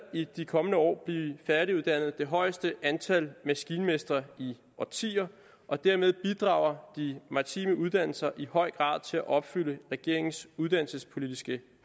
i de kommende år blive færdiguddannet det højeste antal maskinmestre i årtier og dermed bidrager de maritime uddannelser i høj grad til at opfylde regeringens uddannelsespolitiske